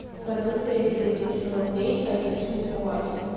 салют переведи тысячу рублей айтишнику васе